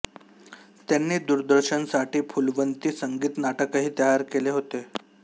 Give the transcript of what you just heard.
त्यांनी दूरदर्शनसाठी फूलवंती संगीत नाटकही तयार केले होते